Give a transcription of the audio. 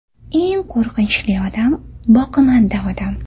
Eng qo‘rqinchli odam boqimanda odam.